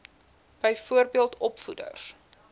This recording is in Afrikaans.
byvoorbeeld opvoeders